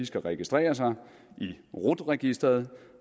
skal registrere sig i rut registeret